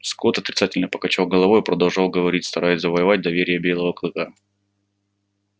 скотт отрицательно покачал головой и продолжал говорить стараясь завоевать доверие белого клыка